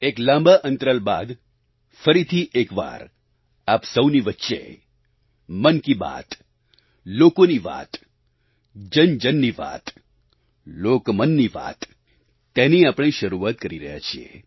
એક લાંબા અંતરાલ બાદ ફરીથી એકવાર આપ સહુની વચ્ચે મન કી બાત લોકોની વાત જનજનની વાત લોકમનની વાત તેની આપણે શરૂઆત કરી રહ્યા છીએ